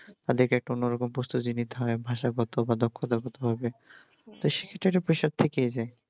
তাদেরকে একটা অন্যরকম প্রস্তুতি নিতে হয় ভাষাগত বা দক্ষতাগত ভাবে তো সেটারও pressure থেকেই যাই